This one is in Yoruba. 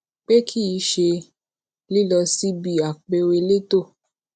pe ki i ṣe lilọ sibi apẹọ eleto